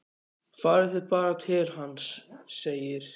Farið þið bara til hans, segir